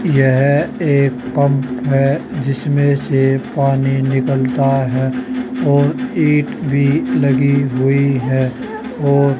यह एक पंप है जिसमें से पानी निकलता है और ईट भी लगी हुई है और --